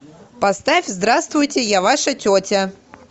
поставь здравствуйте я ваша тетя